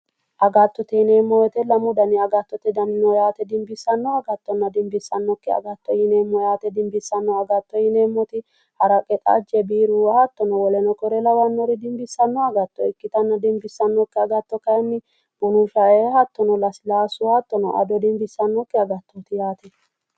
Agatotte yineemo woyite lamu gari agattote dani no yaate dinibissanno agatonna dinnissanokki agatto yineemo yaate dinibissanno agatto yineemot haraqe xajje biiru hattono woleno kuri lawannor dinibbisanno agatto ikkitana dinnissanokki agatto kayin bunu sha"e hattono lasilasu hattono ado dinibissannoki agattoot yaate